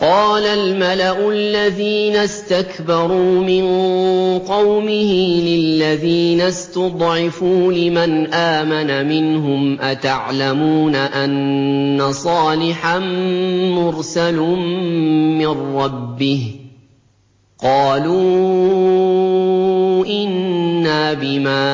قَالَ الْمَلَأُ الَّذِينَ اسْتَكْبَرُوا مِن قَوْمِهِ لِلَّذِينَ اسْتُضْعِفُوا لِمَنْ آمَنَ مِنْهُمْ أَتَعْلَمُونَ أَنَّ صَالِحًا مُّرْسَلٌ مِّن رَّبِّهِ ۚ قَالُوا إِنَّا بِمَا